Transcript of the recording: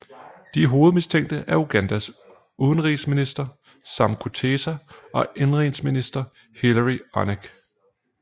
De hovedmistænkte er Ugandas udenrigsminister Sam Kutesa og indenrigsminister Hillary Onek